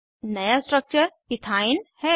नया structure ethyne है